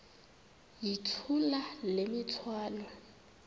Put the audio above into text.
yithula le mithwalo